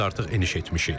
Biz artıq eniş etmişik.